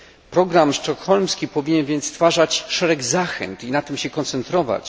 Program sztokholmski powinien więc stwarzać szereg zachęt i na tym się koncentrować.